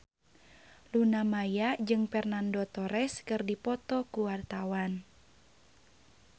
Luna Maya jeung Fernando Torres keur dipoto ku wartawan